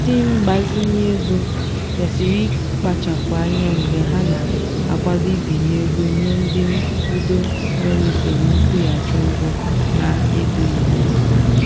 ndị ngbazinye ego kwesịrị ịkpachapụ anya mgbe ha na-akwado ibinye ego nye ndị nkwudo nwere usoro nkwụghachi ụgwọ na-edoghị anya.